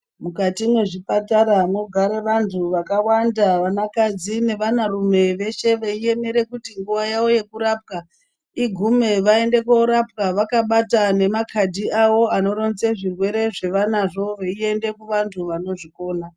Mukati mezvipatara mogara vantu wakawanda vana kadzi nevana rume weshe weiemera kuti nguva yawo yekurapwa igume vaende korapwa vakabata nemakadhi awo anoronze zvirwere zvawanazvo weiende kuvanhu vanozvikona.